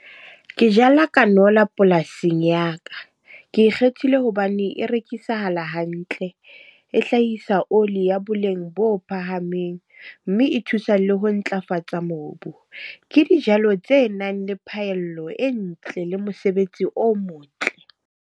Ke jala kanola polasing ya ka. Ke kgethile hobane e rekisahala hantle. E hlahisa oli ya boleng bo phahameng, mme e thusa le ho ntlafatsa mobu. Ke dijalo tse nang le phahello e ntle le mosebetsi o motle.